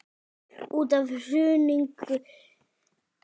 Út af hruninu segir Eyþór.